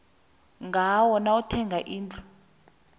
ngayo nawuthenga indlu